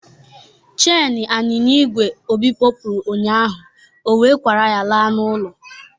Cheni anyịnya igwe Obi kopuru ụnyaahụ, ọ wee kwara akwa laa n'ụlọ.